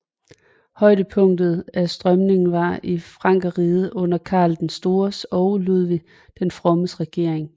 Højdepunktet af strømningen var i Frankerriget under Karl den Stores og Ludvig den Frommes regering